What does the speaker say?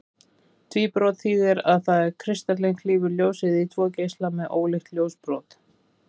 Tvíbrot þýðir það að kristallinn klýfur ljósið í tvo geisla með ólíkt ljósbrot.